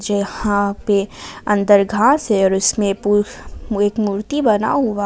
यहां पे अंदर घास है और उसमें पू एक मूर्ति बना हुआ--